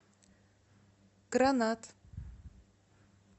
гранат